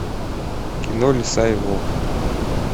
кино лиса и волк